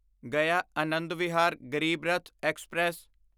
ਗਿਆ ਆਨੰਦ ਵਿਹਾਰ ਗਰੀਬ ਰੱਥ ਐਕਸਪ੍ਰੈਸ